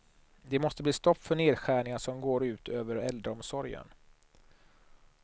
Det måste bli stopp för nedskärningar som går ut över äldreomsorgen.